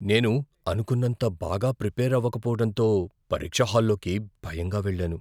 నేను అనుకున్నంత బాగా ప్రిపేర్ అవ్వకపోవటంతో పరీక్ష హాలులోకి భయంగా వెళ్లాను.